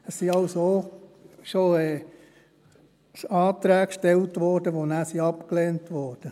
Es wurden also auch schon Anträge gestellt, die nachher abgelehnt wurden.